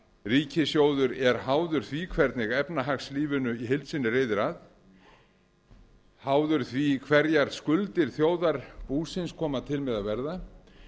ríkissjóður er háður því hvernig efnahagslífinu í heild sinni reiðir af háður því hverjar skuldir þjóðarbúsins koma til með að verða